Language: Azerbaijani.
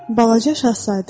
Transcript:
Balaca Şahzadə.